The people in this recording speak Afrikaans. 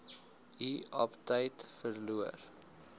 u aptyt verloor